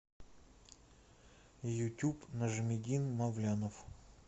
ютуб нажмиддин мавлянов